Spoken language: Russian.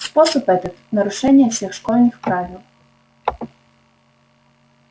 способ этот нарушение всех школьных правил